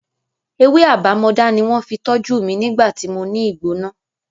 Ewé àbámọdá ni wọ́n fi tọ́jú mi nígbà tí mo ní ìgbóná.